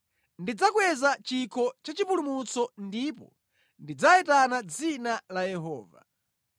Ndidzakweza chikho cha chipulumutso ndipo ndidzayitana dzina la Yehova.